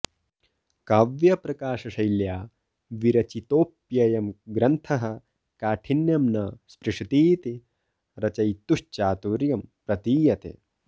काव्यप्रकाशशैल्या विरचितोऽप्ययं ग्रन्थः काठिन्यं न स्पृशतीति रचयितुश्चातुर्यम् प्रतीयते